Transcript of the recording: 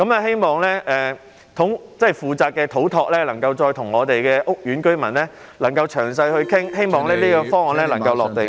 希望負責的土木工程拓展署能夠再與屋苑居民詳細討論，希望這個方案能夠"落地"。